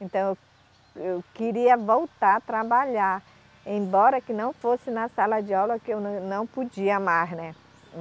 Então, eu queria voltar a trabalhar, embora que não fosse na sala de aula que eu não podia mais, né?